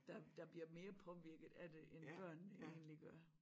Der der bliver mere påvirket af det end børnene egentlig gør